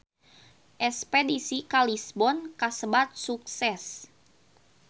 Espedisi ka Lisbon kasebat sukses